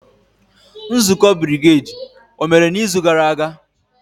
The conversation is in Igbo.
Nzukọ brigedi omere n'izu gara aga?